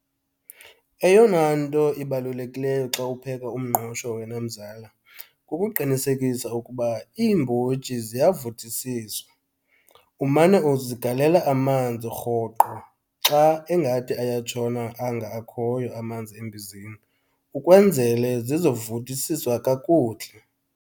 Eyona nto ibalulekileyo xa upheka umngqusho wena, mzala, kukuqinisekisa ukuba iimbotyi ziyavuthisiswa. Umane uzigalela amanzi rhoqo xa engathi ayatshona anga akhoyo amanzi embizeni ukwenzele zizovuthisiswa kakuhle.